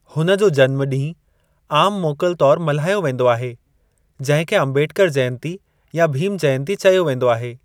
हुन जो जन्म ॾींहं आम मोकल तौर मल्हायो वेंदो आहे जंहिं खे अम्बेडकर जयंती या भीम जयंती चयो वेंदो आहे।